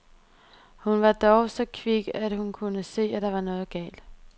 Hun var dog så kvik, at hun kunne se, der var noget galt.